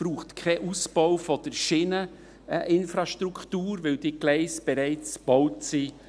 Es braucht keinen Ausbau der Schieneninfrastruktur, weil diese Gleise bereits gebaut sind.